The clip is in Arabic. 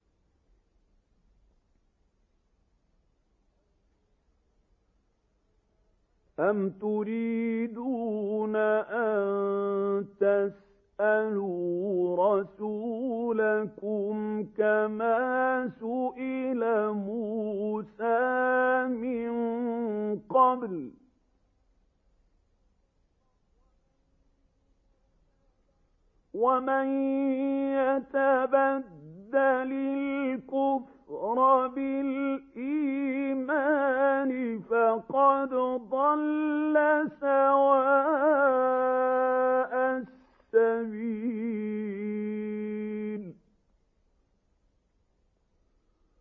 أَمْ تُرِيدُونَ أَن تَسْأَلُوا رَسُولَكُمْ كَمَا سُئِلَ مُوسَىٰ مِن قَبْلُ ۗ وَمَن يَتَبَدَّلِ الْكُفْرَ بِالْإِيمَانِ فَقَدْ ضَلَّ سَوَاءَ السَّبِيلِ